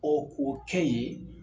Ɔ k'o kɛ yen